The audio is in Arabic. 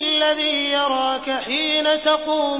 الَّذِي يَرَاكَ حِينَ تَقُومُ